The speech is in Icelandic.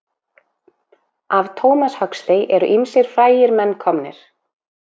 Af Thomas Huxley eru ýmsir frægir menn komnir.